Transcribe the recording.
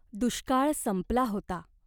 दुष्काळ संपला होता.